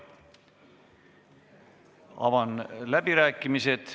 Avan läbirääkimised.